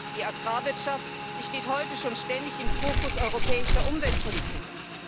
Die Agrarwirtschaft steht heute schon ständig im Fokus europäischer Umweltpolitiken.